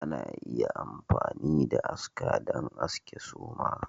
Ana iya amfani da aska don aske suma